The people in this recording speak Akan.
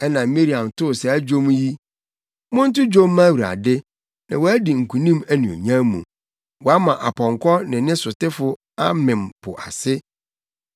Ɛnna Miriam too saa dwom yi: “Monto dwom mma Awurade na wadi nkonim anuonyam mu. Wama ɔpɔnkɔ ne ne sotefo amem po ase.”